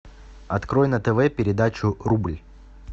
открой на тв передачу рубль